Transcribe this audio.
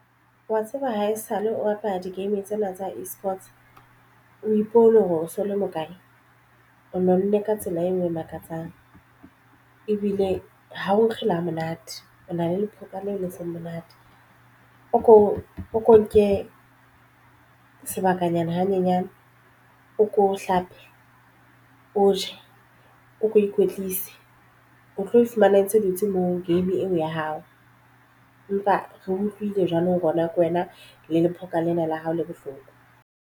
Wa tseba haesale o rata di game tsena tsa eSports o ipone hore o so le mokae o nonne ka tsela e nngwe e makatsang ebile ha o nkge le ha monate o na le lephoka la le seng monate o ko o nke sebakanyana hanyenyane o ko o hlape, o je, o ko o ikwetlise o tlo e fumana e ntse dutse moo game eo ya hao empa re utlwile jwalo. Rona ke wena le lephoka lena la hao le bohloko.